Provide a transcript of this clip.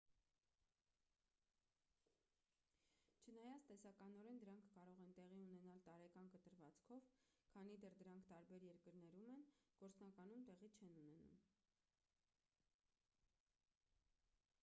չնայած տեսականորեն դրանք կարող են տեղի ունենալ տարեկան կտրվածքով քանի դեռ դրանք տարբեր երկրներում են՝ գործնականում տեղի չեն ունենում։